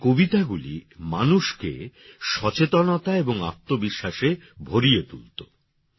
তাঁর কবিতাগুলি মানুষকে সচেতনতার এবং আত্মবিশ্বাসে ভরিয়ে তুলতো